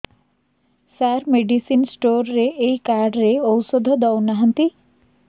ସାର medicine store ରେ ଏଇ card ରେ ଔଷଧ ଦଉନାହାନ୍ତି